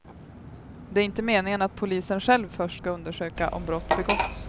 Det är inte meningen att polisen själv först ska undersöka om brott begåtts.